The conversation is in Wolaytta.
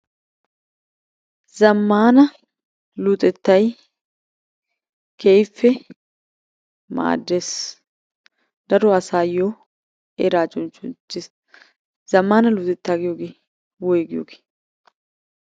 Zamaana luxxettay keehiippe maaddees. Daro asaayoo eraa cuccunttiis. Zamana luxxettaa giiyoogee woyggiyoogee?